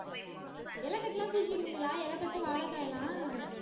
இலைக்கட்டெல்லாம் தூக்கிடுவீங்களா இலைக்கட்டு வாழைக்காய் எல்லாம்